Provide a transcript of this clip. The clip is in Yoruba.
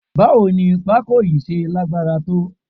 Báwo ni pako yìí ṣe lágbára tó?